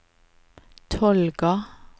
Tolga